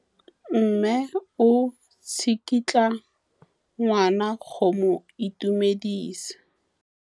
Mme o tsikitla ngwana go mo itumedisa.